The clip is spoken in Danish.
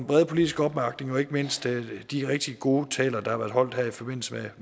brede politiske opbakning og ikke mindst de rigtig gode taler der har været holdt her i forbindelse